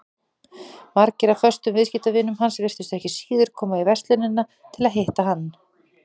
Margir af föstum viðskiptavinum hans virtust ekki síður koma í verslunina til að hitta hann.